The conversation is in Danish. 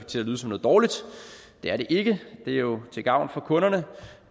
til at lyde som noget dårligt det er det ikke det er jo til gavn for kunderne